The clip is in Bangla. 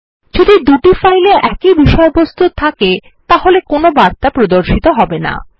যদি দুটি ফাইল এ একই বিষয়বস্তু থাকে তবে কোন বার্তা প্রদর্শিত হবে না